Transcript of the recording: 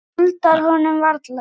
Þú skuldar honum varla.